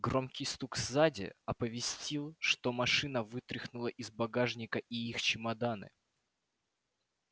громкий стук сзади оповестил что машина вытряхнула из багажника и их чемоданы